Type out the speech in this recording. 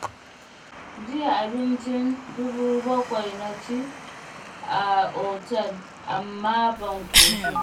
Jiya abincin dubu 7 na ci a otal, amma ban ƙoshi ba.